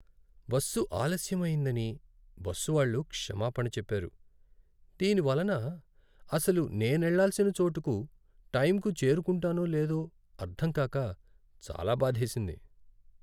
Bus ఆలస్యం అయ్యిందని bus వాళ్ళు క్షమాపణ చెప్పారు. దీని వలన అసలు నేనెళ్ళాల్సిన చోటుకు టైంకు చేరుకుంటానో లేదో అర్ధంకాక చాలా బాధేసింది.